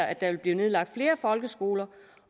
at der vil blive nedlagt flere folkeskoler